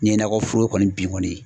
N'i ye nakɔ foro kɔni bin kɔni.